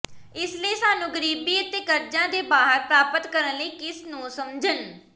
ਇਸ ਲਈ ਸਾਨੂੰ ਗਰੀਬੀ ਅਤੇ ਕਰਜ਼ਾ ਦੇ ਬਾਹਰ ਪ੍ਰਾਪਤ ਕਰਨ ਲਈ ਕਿਸ ਨੂੰ ਸਮਝਣ